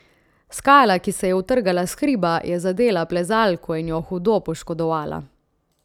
Skala, ki se je utrgala s hriba, je zadela plezalko in jo hudo poškodovala.